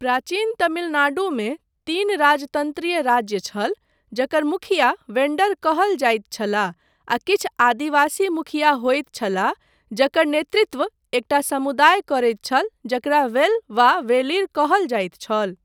प्राचीन तमिलनाडुमे तीन राजतन्त्रीय राज्य छल, जकर मुखिया वेन्डर कहल जाइत छलाह, आ किछु आदिवासी मुखिया होइत छलाह जकर नेतृत्व एकटा समुदाय करैत छल जकरा वेल वा वेलिर कहल जाइत छल।